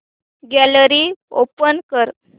gallery open कर